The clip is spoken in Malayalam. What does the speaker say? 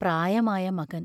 പ്രായമായ മകൻ.